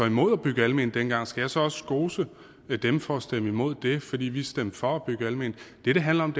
imod at bygge alment dengang skal jeg så også skose dem for at stemme imod det fordi vi stemte for at bygge alment det det handler om